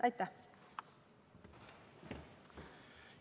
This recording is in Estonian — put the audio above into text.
Aitäh!